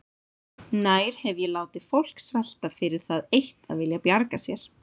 Nær hef ég látið fólk svelta fyrir það eitt að vilja bjarga sér?